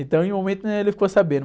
Então em um momento, né? Ele ficou sabendo.